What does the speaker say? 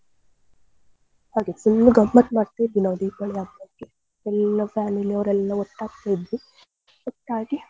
ಹಾಗೆ full ಗಮ್ಮತ್ ಮಾಡ್ತಾ ಇದ್ವಿ ನಾವ್ Deepavali ಹಬ್ಬಕ್ಕೆ full family ಅವ್ರೆಲ್ಲ ಒಟ್ಟಾಗ್ತತಿದ್ವಿ ಒಟ್ಟಾಗಿ.